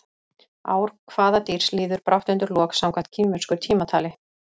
Ár hvaða dýrs líður brátt undir lok samkvæmt kínversku tímatali?